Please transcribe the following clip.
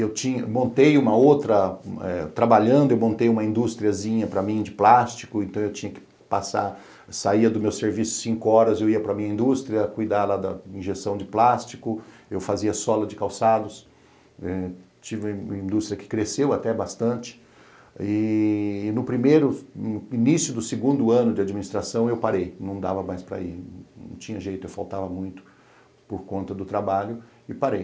E eu tinha montei uma outra, trabalhando, eu montei uma industriazinha para mim de plástico, então eu tinha que passar, saía do meu serviço cinco horas e eu ia para minha indústria cuidar lá da injeção de plástico, eu fazia sola de calçados, tive uma indústria que cresceu até bastante e e no primeiro, início do segundo ano de administração eu parei, não dava mais para ir, não tinha jeito, eu faltava muito por conta do trabalho e parei.